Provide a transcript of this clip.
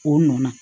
O nɔ na